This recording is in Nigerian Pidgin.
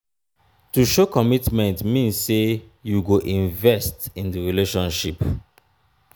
to show commitment mean say you go invest in di relationship